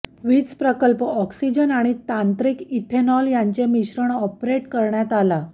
वीज प्रकल्प ऑक्सिजन आणि तांत्रिक इथेनॉल यांचे मिश्रण ऑपरेट करण्यात आला